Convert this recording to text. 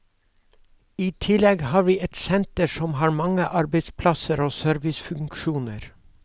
I tillegg har vi et senter som har mange arbeidsplasser og servicefunksjoner.